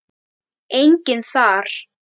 Enginn þar.